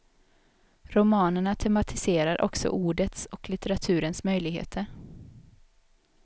Romanerna tematiserar också ordets och litteraturens möjligheter.